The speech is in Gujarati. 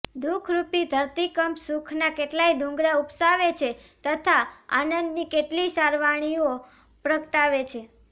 દુઃખરૂપી ધરતીકંપ સુખના કેટલાય ડુંગરા ઉપસાવે છે તથા આનંદની કેટલીય સરવાણીઓ પ્રગટાવે છે